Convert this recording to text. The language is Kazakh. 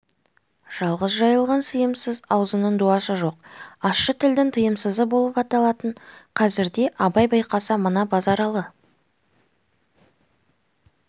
жалғыз жайылған сыйымсыз аузының дуасы жоқ ащы тілдің тыйымсызы боп аталатын қазірде абай байқаса мына базаралы